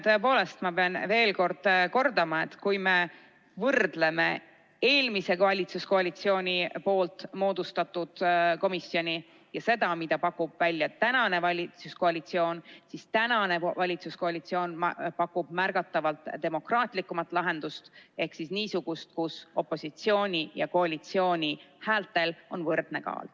Tõepoolest, ma pean veel kordama, et kui me võrdleme eelmise valitsuskoalitsiooni moodustatud komisjoni ja seda, mida pakub välja praegune valitsuskoalitsioon, siis näeme, et praegune valitsuskoalitsioon pakub märgatavalt demokraatlikumat lahendust ehk niisugust, kus opositsiooni ja koalitsiooni häältel on võrdne kaal.